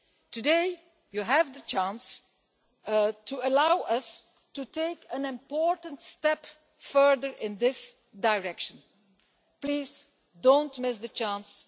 Today you have the chance to allow us to take an important step further in this direction. Please do not miss the chance.